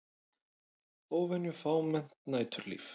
Óvenju fámennt næturlíf